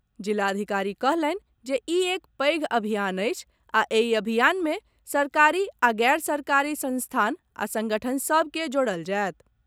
जिलाधिकारी कहलनि जे ई एक पैघ अभियान अछि आ एहि अभियान मे सरकारी आ गैर सरकारी संस्थान आ संगठन सभ के जोड़ल जायत।